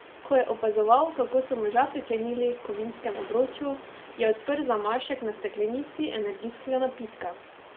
Ko je opazoval, kako so moža priklenili h kovinskemu obroču, je odprl zamašek na steklenici energijskega napitka.